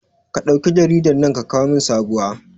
Ka ɗauke jaridan nan ka kawo min sabowa